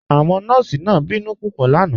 Awọn nọọ̀sí náà bínú pupọ̀ lánà